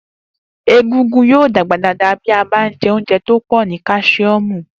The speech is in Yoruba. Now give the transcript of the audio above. Egungun yóò dàgbà dáadáa bí a bá jẹ oúnjẹ tó pọ̀ ní káṣíọ́mù